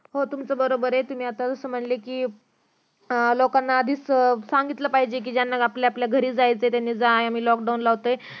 हो तुमचं बरोबर ये कि तुम्ही जसं म्हंटले कि लोकांना आधीच सांगितलं पाहिजे कि ज्यांना आपापल्या घरी जायचं त्यांनी जा आम्ही लॉक डाउन लावतो ये